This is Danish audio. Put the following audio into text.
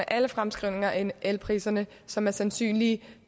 alle fremskrivninger af elpriserne som er sandsynlige